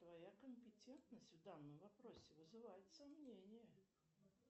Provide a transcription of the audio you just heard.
твоя компетентность в данном вопросе вызывает сомнения